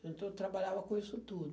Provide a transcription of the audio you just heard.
Então eu trabalhava com isso tudo.